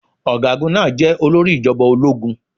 Ọ̀gágun máa jeh olórí ìjọba ológun.